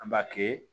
An b'a kɛ